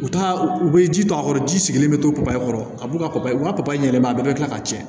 U ta u bɛ ji to a kɔrɔ ji sigilen bɛ to papaye kɔrɔ a b'u ka u ka papaye ɲɛnama bɛɛ bɛ kila ka cɛn